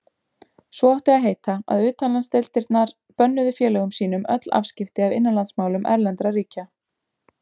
Svo átti að heita, að utanlandsdeildirnar bönnuðu félögum sínum öll afskipti af innanlandsmálum erlendra ríkja.